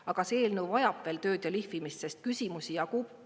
Aga see eelnõu vajab veel tööd ja lihvimist, sest küsimusi jagub.